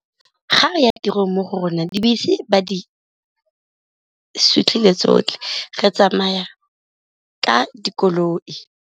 Ga re ya tirong mo go rona dibese ba di sutlhile tsotlhe, re tsamaya ka dikoloi.